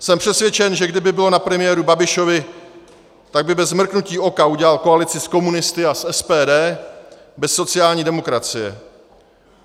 Jsem přesvědčen, že kdyby bylo na premiéru Babišovi, tak by bez mrknutí oka udělal koalici s komunisty a s SPD bez sociální demokracie.